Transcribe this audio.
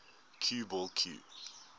cue ball cue